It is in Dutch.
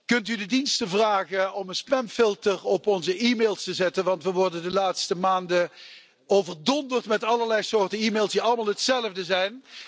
Kunt u de diensten vragen om een spamfilter op onze e mails te zetten, want we worden de laatste maanden overdonderd met allerlei soorten e mails die allemaal hetzelfde zijn.